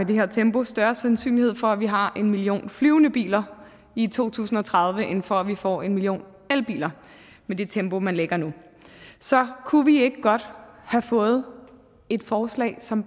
det her tempo er større sandsynlighed for at vi har en million flyvende biler i to tusind og tredive end for at vi får en million elbiler med det tempo man lægger nu så kunne vi ikke godt have fået et forslag som